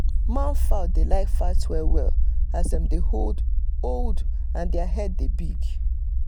man fowl dey like fight well well as dem dey old and their head dey big